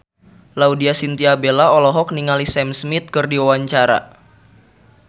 Laudya Chintya Bella olohok ningali Sam Smith keur diwawancara